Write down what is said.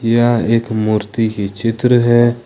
यह एक मूर्ति की चित्र है।